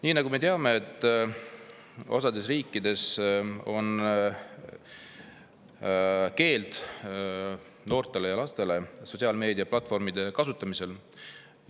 Nii nagu me teame, on osas riikides noortel ja lastel sotsiaalmeedia platvormide kasutamise keeld.